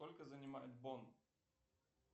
сколько занимает бон